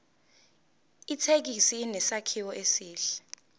ithekisi inesakhiwo esihle